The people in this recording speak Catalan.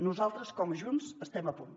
nosaltres com a junts estem a punt